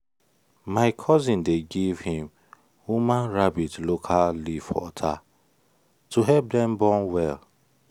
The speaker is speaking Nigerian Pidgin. my cousin dey give him woman rabbit local leaf water to help dem born well.